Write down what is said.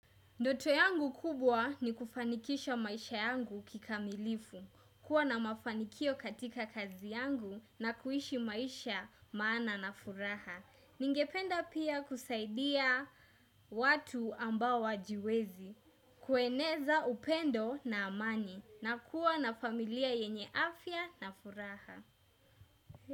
Ndoto yangu kubwa ni kufanikisha maisha yangu kikamilifu, kuwa na mafanikio katika kazi yangu na kuishi maisha maana na furaha. Ningependa pia kusaidia watu ambao hawajiwezi, kueneza upendo na amani na kuwa na familia yenye afya na furaha.